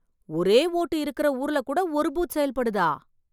ஒரே ஓட்டு இருக்குற ஊர்ல கூட ஒரு பூத் செயல்படுதா!